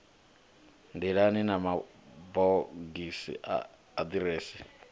nḓilani na mabogisi a aḓirese